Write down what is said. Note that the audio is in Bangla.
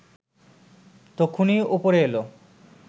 তক্ষুনি ওপরে এলো